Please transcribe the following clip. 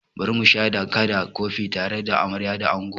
Bari musha da kaɗa kofi tare da amarya da ango!